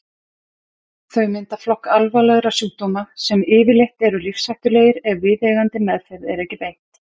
Þau mynda flokk alvarlegra sjúkdóma sem yfirleitt eru lífshættulegir ef viðeigandi meðferð er ekki beitt.